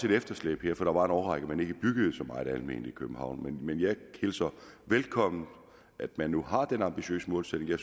et efterslæb her for der var en årrække man ikke byggede så meget alment i københavn men jeg hilser velkommen at man nu har den ambitiøse målsætning jeg